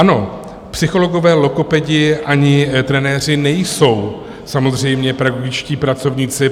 Ano, psychologové, logopedi ani trenéři nejsou samozřejmě pedagogičtí pracovníci.